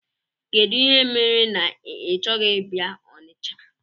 Kedụ ihe mere na ị chọghị ịbịa Ọnịcha?